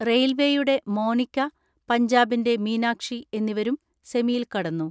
റെയിൽവെയുടെ മോനിക്ക, പഞ്ചാബിന്റെ മീനാക്ഷി എന്നിവരും സെമിയിൽ കടന്നു.